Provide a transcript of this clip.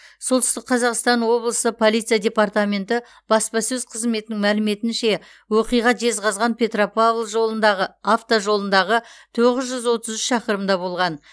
солтүстік қазақстан облысы полиция департаменті баспасөз қызметінің мәліметінше оқиға жезқазған петропавл жолындағы автожолындағы тоғыз жүз отыз үш шақырымда болған